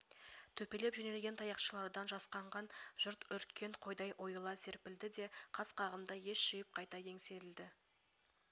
төпелей жөнелген таяқшалардан жасқанған жұрт үріккен қойдай ойыла серпілді де қас қағымда ес жиып қайта еңсерілді